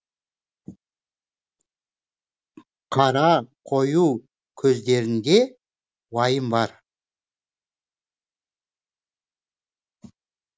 қара қою көздерінде уайым бар